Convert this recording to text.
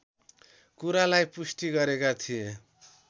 कुरालाई पुष्टि गरेका थिए